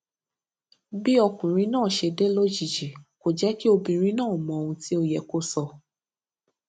bí ọkùnrin náà ṣe dé lójijì kò jé kí obìnrin náà mọ ohun tí ó yẹ kó sọ